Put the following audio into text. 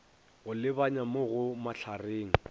go lebanya mo go mahlareng